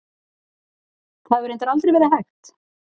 Það hefur reyndar aldrei verið hægt.